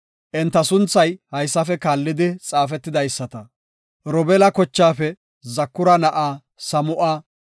Enta sunthay haysafe kaallidi xaafetidaysata. Robeela kochaafe Zakura na7aa Samu7a;